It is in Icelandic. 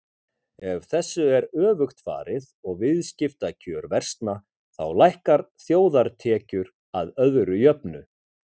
Ef þessu er öfugt farið og viðskiptakjör versna þá lækka þjóðartekjur að öðru jöfnu.